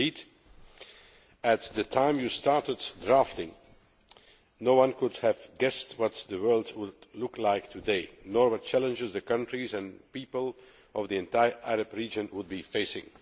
Indeed, at the time you started drafting no one could have guessed what the world would be like today, nor what challenges the countries and people of the entire Arab region would be facing.